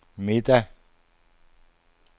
middag